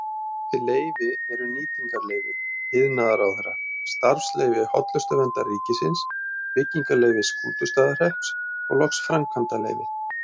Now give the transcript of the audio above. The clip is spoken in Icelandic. Þessi leyfi eru nýtingarleyfi iðnaðarráðherra, starfsleyfi Hollustuverndar ríkisins, byggingarleyfi Skútustaðahrepps og loks framkvæmdaleyfi.